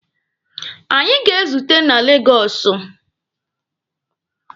Anyị ga-ezute na Legọsụ